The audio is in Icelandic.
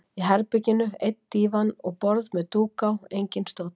Í herberginu einn dívan og borð með dúk á, enginn stóll.